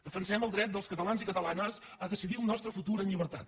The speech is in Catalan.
defensem el dret dels catalans i catalanes a decidir el nostre futur amb llibertat